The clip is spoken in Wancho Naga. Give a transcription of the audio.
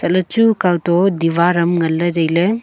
le chu kao to diwar am nganley tailey.